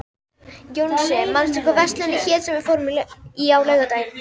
Jónsi, manstu hvað verslunin hét sem við fórum í á laugardaginn?